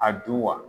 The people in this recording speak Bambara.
A du wa